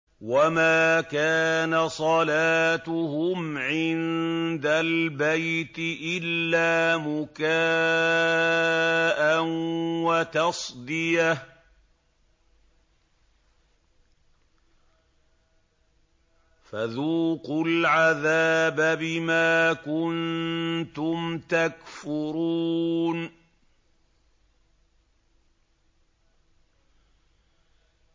وَمَا كَانَ صَلَاتُهُمْ عِندَ الْبَيْتِ إِلَّا مُكَاءً وَتَصْدِيَةً ۚ فَذُوقُوا الْعَذَابَ بِمَا كُنتُمْ تَكْفُرُونَ